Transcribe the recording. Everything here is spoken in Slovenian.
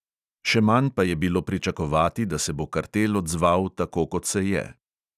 Še manj pa je bilo pričakovati, da se bo kartel odzval tako, kot se je.